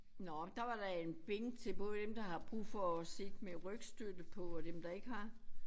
Nåh der var da en bænk til både dem der har brug for at sidde med rygstøtte på og dem der ikke har